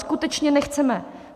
Skutečně nechceme.